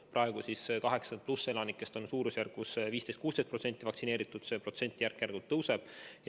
Praegu on üle 80-aastastest vaktsineeritud umbes 15–16% ja see protsent järk-järgult kasvab.